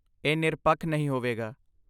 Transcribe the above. ਇਹ ਨਿਰਪੱਖ ਨਹੀਂ ਹੋਵੇਗਾ।